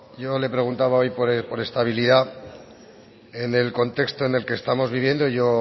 yo le preguntaba hoy por estabilidad en el contexto en el que estamos viviendo y yo